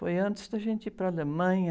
Foi antes da gente ir para a Alemanha.